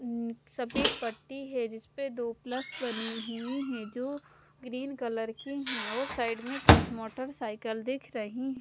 अं सफेद पट्टी है जिसपे दो प्लस बने हुए हैं जो ग्रीन कलर के हैं और साइड में कुछ मोटरसाइकल दिख रही--